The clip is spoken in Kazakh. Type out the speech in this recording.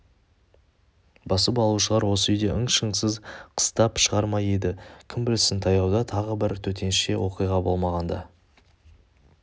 басып алушылар осы үйде ың-шыңсыз қыстап шығар ма еді кім білсін таяуда тағы бір төтенше оқиға болмағанда